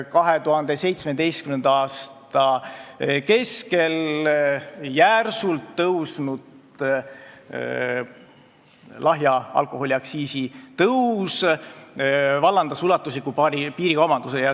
2017. aasta keskel toimunud järsk lahja alkoholi aktsiisi tõus vallandas ulatusliku piirikaubanduse.